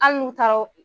Hali n'u taara o